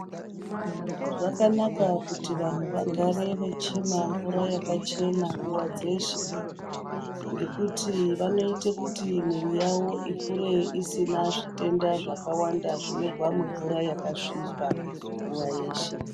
Zvakanaka kuti vantu vagare vechimwa mvura yakachena nguva dzeshe ngekuti vanoite kuti miri yavo ikure isina zvitenda zvakawanda zvinobva mumvura yakasvipa nguwa yeshe.